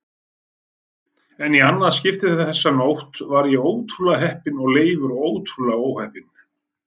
En í annað skipti þessa nótt var ég ótrúlega heppinn og Leifur ótrúlega óheppinn.